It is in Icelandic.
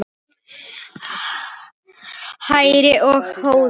Hrærið og hnoðið.